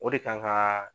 O de kan ka